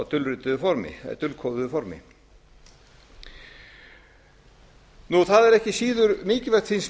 en á dulkóðuðu formi það er ekki síður mikilvægt finnst